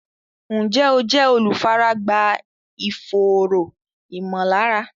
Ǹjẹ́ o jẹ́ olùfaragbá ìfòòró ìmọ̀lára?